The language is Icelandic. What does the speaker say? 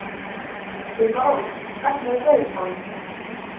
Sumarrós, hvernig er veðurspáin?